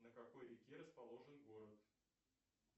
на какой реке расположен город